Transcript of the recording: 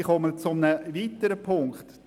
Ich komme zu einem weiteren Punkt: